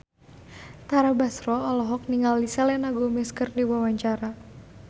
Tara Basro olohok ningali Selena Gomez keur diwawancara